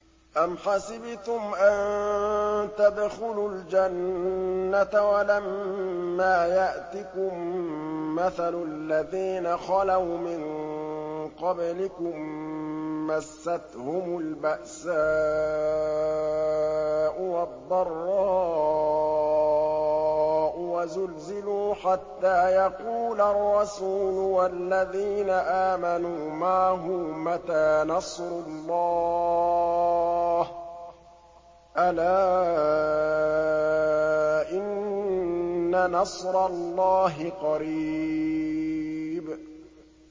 أَمْ حَسِبْتُمْ أَن تَدْخُلُوا الْجَنَّةَ وَلَمَّا يَأْتِكُم مَّثَلُ الَّذِينَ خَلَوْا مِن قَبْلِكُم ۖ مَّسَّتْهُمُ الْبَأْسَاءُ وَالضَّرَّاءُ وَزُلْزِلُوا حَتَّىٰ يَقُولَ الرَّسُولُ وَالَّذِينَ آمَنُوا مَعَهُ مَتَىٰ نَصْرُ اللَّهِ ۗ أَلَا إِنَّ نَصْرَ اللَّهِ قَرِيبٌ